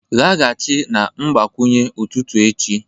laghachi na mgbakwunye ụtụtụ echi